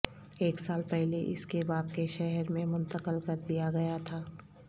ایک سال پہلے اس کے باپ کے شہر میں منتقل کر دیا گیا تھا